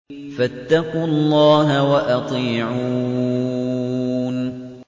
فَاتَّقُوا اللَّهَ وَأَطِيعُونِ